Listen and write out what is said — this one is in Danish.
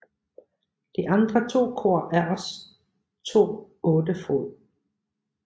De andre to kor er også to 8 fod